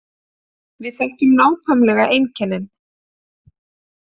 Við þekkjum nákvæmlega einkennin